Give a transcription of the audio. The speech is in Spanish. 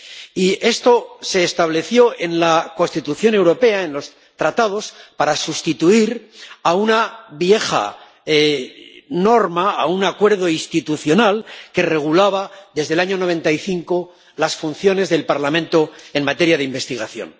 Y esto se estableció en la Constitución europea, en los Tratados, para sustituir a una vieja norma, a un acuerdo institucional que regulaba desde el año 1995 las funciones del Parlamento en materia de investigación.